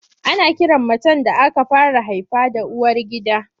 Ana kiran macen da aka fara haifa da uwargida.